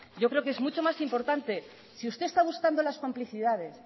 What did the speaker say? yo creo que es mucho más importante si usted está buscando las complicidades